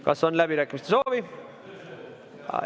Kas on läbirääkimiste soovi?